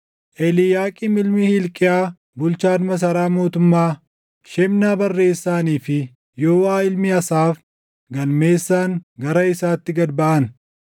Eliiyaaqiim ilmi Hilqiyaa bulchaan masaraa mootummaa, Shebnaa barreessaanii fi Yooʼaa ilmi Asaaf galmeessaan gara isaatti gad baʼan.